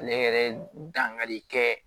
Ale yɛrɛ dankari kɛ